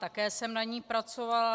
Také jsem na ní pracovala.